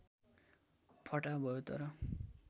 फटाहा भयौ तर